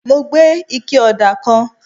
mo gbé ike òdà kan